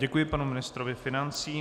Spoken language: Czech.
Děkuji panu ministrovi financí.